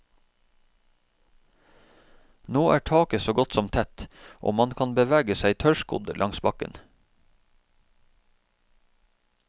Nå er taket så godt som tett, og man kan bevege seg tørrskodd langs bakken.